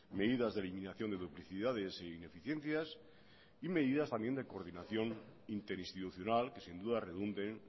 medidas de eliminación de duplicidades e ineficiencias y medidas también de coordinación interinstitucional que sin duda redunden